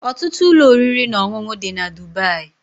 Ọtụtụ ụlọ oriri na ọṅụṅụ dị na Dubai